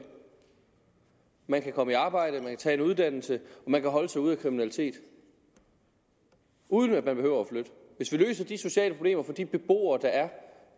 man kan komme i arbejde man kan tage en uddannelse og man kan holde sig ude af kriminalitet uden at man behøver at flytte hvis vi løser de sociale problemer for de beboere der er